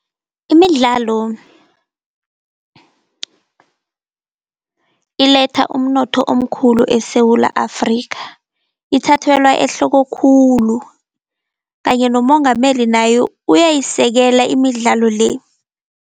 Imidlalo iletha umnotho omkhulu eSewula Afrika ithathelwa ehloko khulu, kanye nomongameli naye uyayisekela imidlalo le.